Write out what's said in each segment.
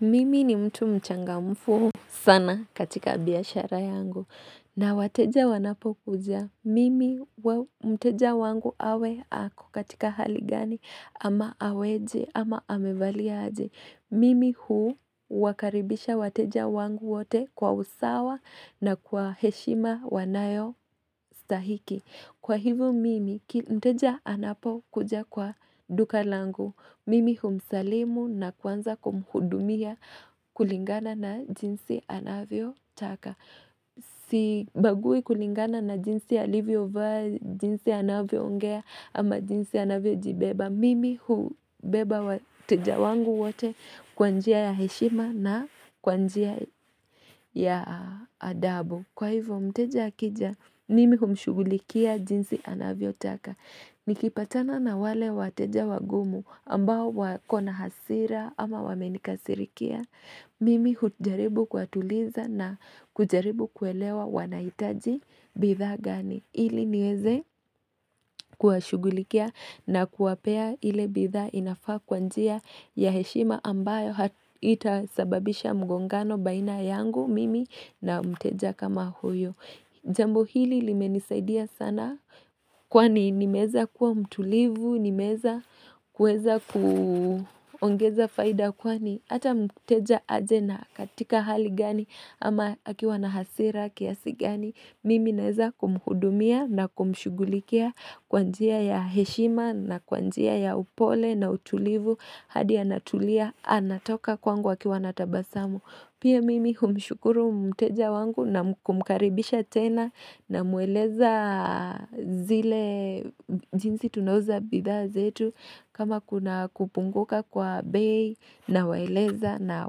Mimi ni mtu mchangamfu sana katika biashara yangu na wateja wanapokuja. Mimi mteja wangu awe ako katika hali gani ama aweje ama amevalia aje. Mimi huu wakaribisha wateja wangu wote kwa usawa na kwa heshima wanayostahiki. Kwa hivyo mimi mteja anapokuja kwa duka langu. Mimi humsalimu na kuanza kumhudumia kulingana na jinsi anavyo taka. Sibagui kulingana na jinsi alivyo vaa, jinsi anavyo ongea ama jinsi anavyo jibeba. Mimi hubeba wateja wangu wote kwa njia ya heshima na kwa njia ya adabu. Kwa hivyo mteja akija nimi humshughulikia jinsi anavyo taka. Nikipatana na wale wateja wagumu ambao wakona hasira ama wamenikasirikia. Mimi hujaribu kuwatuliza na kujaribu kuelewa wanahitaji bidhaa gani. Ili niweze kuwashughulikia na kuwapea ile bidha inafaa kwanjia ya heshima ambayo haitasababisha mgongano baina yangu mimi na mteja kama huyo. Jambo hili limenisaidia sana kwani nimeweza kuwa mtulivu, nimewza kuweza kuongeza faida kwani hata mteja aje na katika hali gani ama akiwa na hasira kiasi gani mimi naeza kumhudumia na kumshughulikia kwa njia ya heshima na kwa njia ya upole na utulivu hadi anatulia anatoka kwangu akiwa natabasamu Pia mimi humshukuru mteja wangu na kumkaribisha tena namueleza zile jinsi tunauza bidha zetu kama kuna kupunguka kwa bei nawaeleza na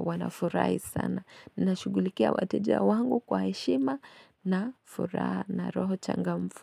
wanafurahi sana. Na shughulikia wateja wangu kwa heshima na furaha na roho changamfu.